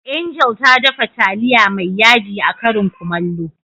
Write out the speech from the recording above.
Angel ta dafa taliya mai yaji a karin Kumallo.